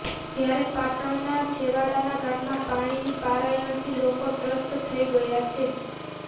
જ્યારે પાટણના છેવાડાના ગામમાં પાણીની પારાયણથી લોકો ત્રસ્ત થઈ ગયા છે